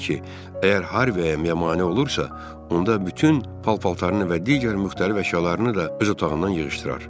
O dedi ki, əgər Harviya mane olursa, onda bütün paltarını və digər müxtəlif əşyalarını da öz otağından yığışdırar.